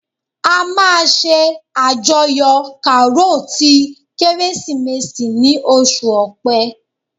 A máa ṣe àjọyọ̀ Karo ti Kérésìmesì ni oṣù ọpẹ